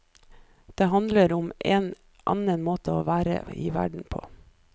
Det handler om en annen måte å være i verden på.